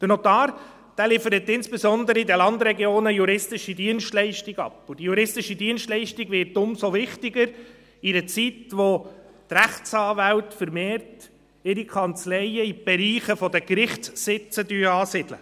Der Notar liefert insbesondere den Landregionen juristische Dienstleistungen ab, und diese juristische Dienstleistung wird umso wichtiger in einer Zeit, in der die Rechtsanwälte ihre Kanzleien vermehrt in den Bereichen der Gerichtssitze ansiedeln.